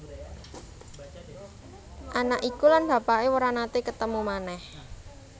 Anak iku lan bapaké ora naté ketemu manèh